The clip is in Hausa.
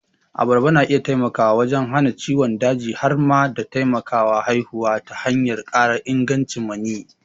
Abarba na iya taimakawa wajen hana ciwon daji har ma da taimakawa haihuwa ta hanyar ƙara ingancin maniyyi.